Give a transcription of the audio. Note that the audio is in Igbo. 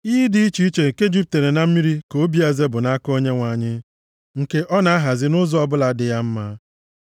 Iyi dị iche iche nke jupụtara na mmiri ka obi eze bụ nʼaka Onyenwe anyị, nke ọ na-ahazi nʼụzọ ọbụla dị ya mma.